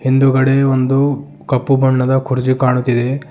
ಹಿಂದುಗಡೆ ಒಂದು ಕಪ್ಪು ಬಣ್ಣದ ಕುರ್ಚಿ ಕಾಣುತ್ತಿದೆ.